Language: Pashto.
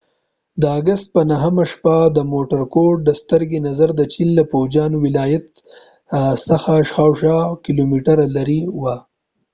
د اګست په 9 همه شپه د مورکوټ د سترګې نظر د چین له فوجیان ولایت څخه شاوخوا اويه کیلومتره لرې وه